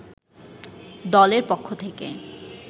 দলের পক্ষ থেকে